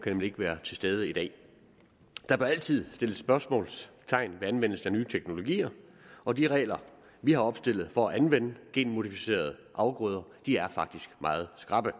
nemlig ikke være til stede i dag der bør altid sættes spørgsmålstegn ved anvendelsen af nye teknologier og de regler vi har opstillet for at anvende genmodificerede afgrøder er faktisk meget skrappe